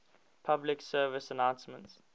public service announcements